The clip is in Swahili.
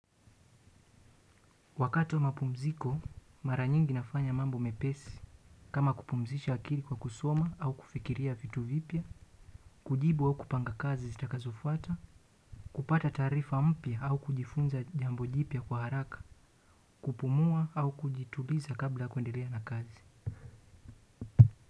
Wakati wa mapumziko mara nyingi nafanya mambo mepesi kama kupumzisha akili kwa kusoma au kufikiria vitu vipya. Kujibu au kupanga kazi zitakazofuata, kupata taarifa mpya au kujifunza jambo jipya kwa haraka, kupumua au kujituliza kabla kuendelea na kazi.